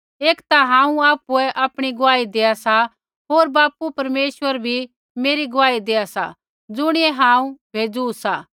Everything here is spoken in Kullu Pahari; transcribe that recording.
एक ता हांऊँ आपुऐ आपणी गुआही देआ सा होर बापू परमेश्वर बी मेरी गुआही देआ सा ज़ुणियै हांऊँ भेज़ू सा